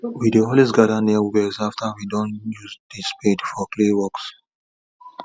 we dey always gather near wells after we doh use the spade for clay works